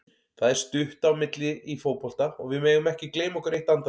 Það er stutt á milli í fótbolta og við megum ekki gleyma okkur eitt andartak.